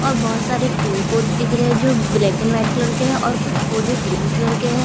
और बहोत सारे पेड़-पौधे दिख रहे है जो ब्लैक एंड व्हाइट कलर के है और कुछ पौधे ग्रीन कलर के है।